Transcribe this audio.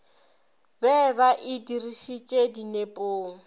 be ba e dirišetše dinepong